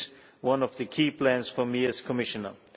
This is one of the key plans for me as Commissioner.